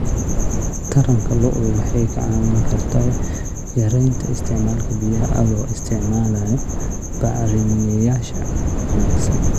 Taranka lo'du waxay kaa caawin kartaa yaraynta isticmaalka biyaha adoo isticmaalaya bacrimiyeyaasha wanaagsan.